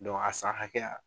Don a san hakɛya